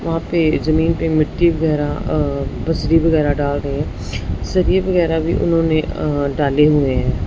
वहां पे जमीन पे मिट्टी वगैरा अ बसरी वगैरा डाल रहे सरिए वगैरा भी उन्होंने अ डाले हुए हैं।